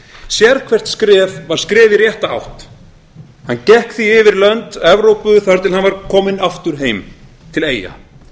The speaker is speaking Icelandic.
sérhvert skref var skref í rétta átt hann gekk því yfir lönd evrópu þar til hann var kominn aftur heim til eyja það er